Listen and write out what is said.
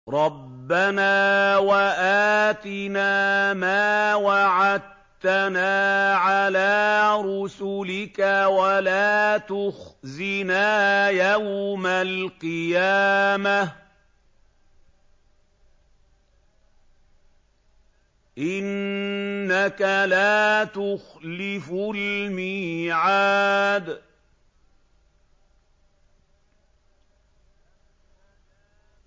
رَبَّنَا وَآتِنَا مَا وَعَدتَّنَا عَلَىٰ رُسُلِكَ وَلَا تُخْزِنَا يَوْمَ الْقِيَامَةِ ۗ إِنَّكَ لَا تُخْلِفُ الْمِيعَادَ